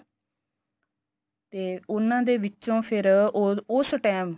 ਤੇ ਉਨ੍ਹਾਂ ਦੇ ਵਿੱਚੋ ਫੇਰ ਉਸ time